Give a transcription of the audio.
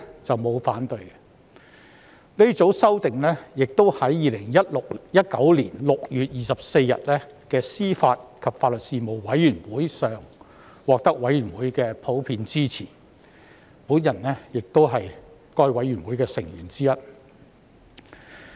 這組修訂亦在2019年6月24日的司法及法律事務委員會會議上獲得委員的普遍支持，而我亦是該事務委員會的成員之一。